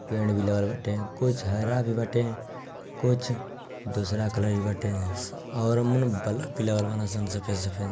पेड़ भी लगल बाटे | कुछ हरा भी बटे कुछ दूसरे कलर भी बटे और मने बल्ब भी लगल बालन सन सफेद सफेद |